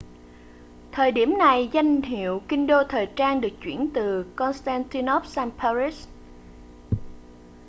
thời điểm này danh hiệu kinh đô thời trang được chuyển từ constantinople sang paris